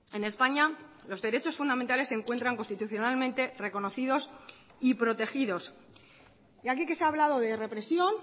en españa los derechos fundamentales se encuentran constitucionalmente reconocidos y protegidos y aquí que se ha hablado de represión